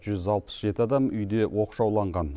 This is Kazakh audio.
жүз алпыс жеті адам үйде оқшауланған